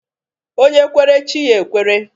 Onye kwere, chi ya ekwere.